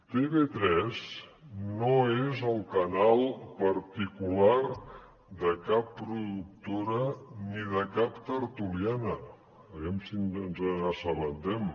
tv3 no és el canal particular de cap productora ni de cap tertuliana a veure si ens n’assabentem